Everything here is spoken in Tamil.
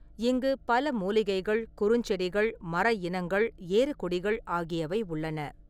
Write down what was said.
இங்கு பல மூலிகைகள், குறுஞ்செடிகள், மர இனங்கள், ஏறுகொடிகள் ஆகியவை உள்ளன.